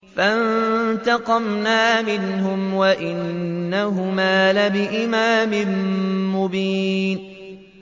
فَانتَقَمْنَا مِنْهُمْ وَإِنَّهُمَا لَبِإِمَامٍ مُّبِينٍ